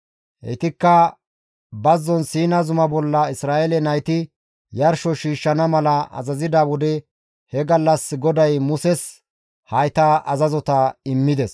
Heytikka bazzon Siina zuma bolla Isra7eele nayti yarsho shiishshana mala azazida wode he gallas GODAY Muses hayta azazota immides.